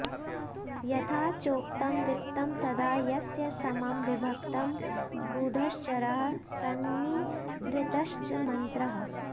यथा चोक्तं वित्तं सदा यस्य समं विभक्तं गूढश्चरः संनिभृतश्च मन्त्रः